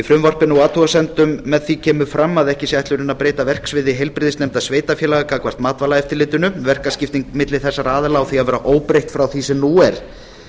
frumvarpinu og athugasemdum með því kemur fram að ekki sé ætlunin að breyta verksviði heilbrigðisnefnda sveitarfélaganna gagnvart matvælaeftirlitinu verkaskipting milli þessara aðila á því að vera óbreytt frá því sem nú er